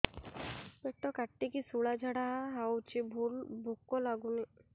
ପେଟ କାଟିକି ଶୂଳା ଝାଡ଼ା ହଉଚି ଭୁକ ଲାଗୁନି